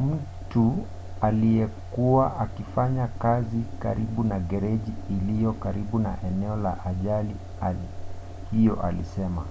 mtu aliyekuwa akifanya kazi karibu na gereji iliyo karibu na eneo la ajali hiyo alisema: